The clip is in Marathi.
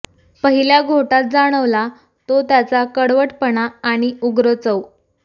पहिल्या घोटात जाणवला तो त्याचा कडवटपणा आणि उग्र चव